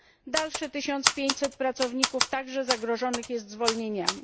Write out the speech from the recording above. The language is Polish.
Dalsze 1500 pracowników jest także zagrożonych zwolnieniami.